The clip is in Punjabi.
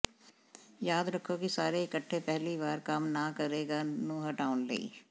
ਯਾਦ ਰੱਖੋ ਕਿ ਸਾਰੇ ਇਕੱਠੇ ਪਹਿਲੀ ਵਾਰ ਕੰਮ ਨਾ ਕਰੇਗਾ ਨੂੰ ਹਟਾਉਣ ਲਈ